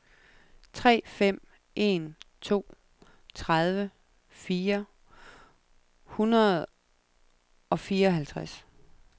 tre fem en to tredive fire hundrede og fireoghalvtreds